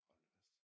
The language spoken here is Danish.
Hold da fast